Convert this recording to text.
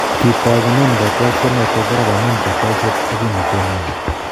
Kitogunen kotyilosnoton parak amun kotyolset ag kimnotenyin